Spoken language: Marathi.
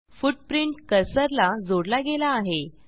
फुटप्रिंट कर्सरला जोडला गेला आहे